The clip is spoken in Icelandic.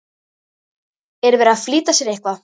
Er verið að flýta sér eitthvað?